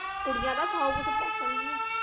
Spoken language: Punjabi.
ਕੁੜੀਆਂ ਤਾ ਸੌ ਕੂਚ ਭੋਕਣਗੀਆ